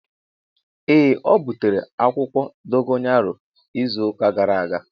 Ee o butere akwukwo dogayaro izu uka gara aga.